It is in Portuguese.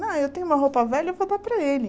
Ah, eu tenho uma roupa velha, eu vou dar para ele.